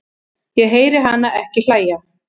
Ég heyri hana ekki hlæja